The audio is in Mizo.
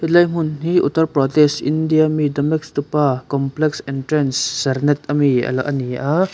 helai hmun hi uttar pradesh india ami complex entrance sernet ami ala ani a.